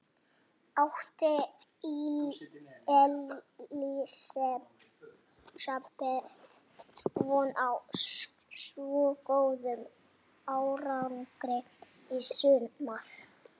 Átti Elísabet von á svo góðum árangri í sumar?